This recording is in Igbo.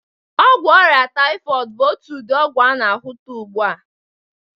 Ọgwụ ọrịa taịfọịdị bụ otu ụdị ọgwụ a na-ahụta ugbu a.